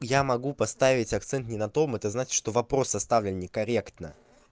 я могу поставить акцент не на том это значит что вопрос составлен некорректно